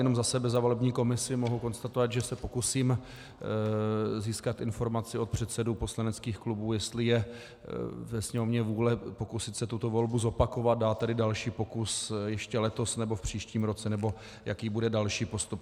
Jenom za sebe, za volební komisi mohu konstatovat, že se pokusím získat informaci od předsedů poslaneckých klubů, jestli je ve Sněmovně vůle pokusit se tuto volbu zopakovat, dát tedy další pokus ještě letos, nebo v příštím roce, nebo jaký bude další postup.